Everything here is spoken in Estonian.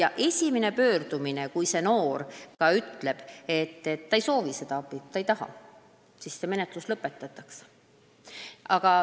Ja kui noor ütleb esimese pöördumise järel, et ta ei soovi ega taha abi, siis menetlus lõpetatakse.